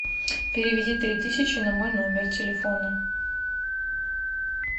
переведи три тысячи на мой номер телефона